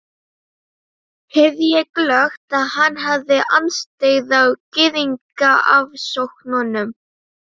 heyrði ég glöggt, að hann hafði andstyggð á Gyðingaofsóknunum.